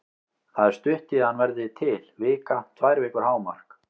Það er stutt í að hann verði til, vika, tvær vikur hámark.